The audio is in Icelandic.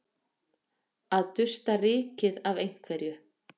Að dusta rykið af einhverju